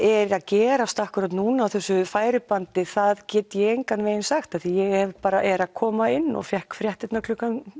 eigi að gerast akkúrat núna á þessu færibandi það get ég engan veginn sagt því ég er að koma inn og fékk fréttirnar klukkan